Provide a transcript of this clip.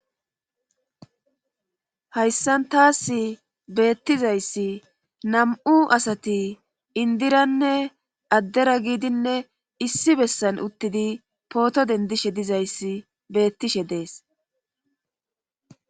hayssan taas beettizayssi nam7u asati indiranne addera giidinne issi bessan uttidi pooto dendishe dizayssi beettishe dees